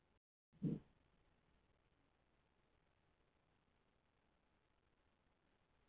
Geturðu ekki ímyndað þér hann sitja þar að víndrykkju og hringja á þjónana.